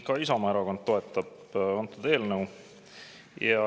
Ka Isamaa erakond toetab seda eelnõu.